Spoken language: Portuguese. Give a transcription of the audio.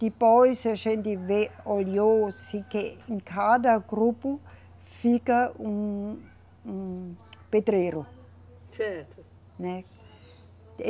Depois a gente veio, olhou-se que em cada grupo fica um, um pedreiro. Certo. Né.